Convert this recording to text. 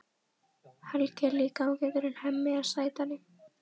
Helgi er líka ágætur en Hemmi er sætari.